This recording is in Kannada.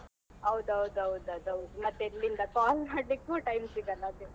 ಹೌದ್ ಹೌದ್ ಹೌದ್ ಅದ್ ಹೌದು ಮತ್ತೆ ಎಲ್ಲಿಂದ call ಮಾಡ್ಲಿಕ್ಕೂ time ಸಿಗಲ್ಲ ಅದೇ.